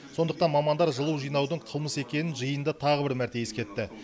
сондықтан мамандар жылу жинаудың қылмыс екенін жиында тағы бір мәрте ескертті